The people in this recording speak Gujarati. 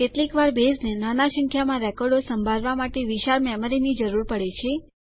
કેટલીક વાર બેઝને નાના સંખ્યામાં રેકોર્ડો સંભાળવા માટે વિશાળ મેમરીની જરૂર પડે છે